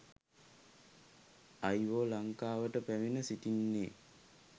අයිවෝ ලංකාවට පැමිණ සිටින්නේ